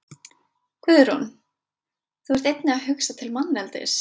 Guðrún: Þú ert einnig að hugsa til manneldis?